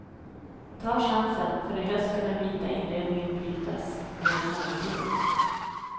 Ta chansen, för i höst ska den vita inredningen brytas med mörkbrunt.